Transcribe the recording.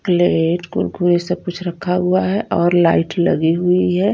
CLAT Kurkure सब कुछ रखा हुआ हैऔर लाइट लगी हुई है।